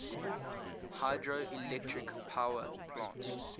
hydroelectric power plants